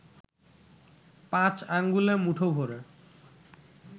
পাঁচ আঙ্গুলে মুঠো ভ’রে